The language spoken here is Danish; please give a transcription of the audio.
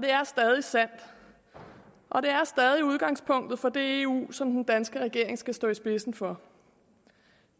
det er stadig sandt og det er stadig udgangspunktet for det eu som den danske regering skal stå i spidsen for